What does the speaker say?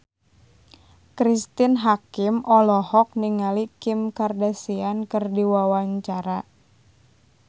Cristine Hakim olohok ningali Kim Kardashian keur diwawancara